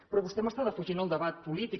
però vostè m’està defugint el debat polític